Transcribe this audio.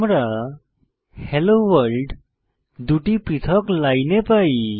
আমরা hello world দুটি পৃথক লাইনে পাই